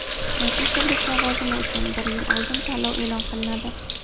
Professorlik lavozimi uchun bir yil oldin tanlov e’lon qilinadi.